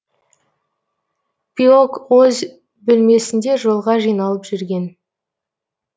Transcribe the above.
пиок өз бөлмесінде жолға жиналып жүрген